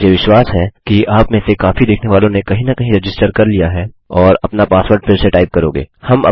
मुहे विश्वास है कि आपमें से काफी देखने वालों ने कहीं न कहीं रजिस्टर कर लिया है और अपना पासवर्ड फिर से टाइप करोगे